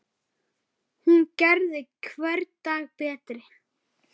Hún gerði hvern dag betri.